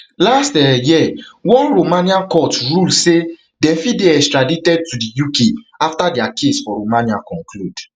last um year one romanian court rule saydem fit dey extradited to di ukafter dia case for romania conclude um